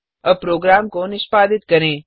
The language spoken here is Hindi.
अब प्रोग्राम को निष्पादित करें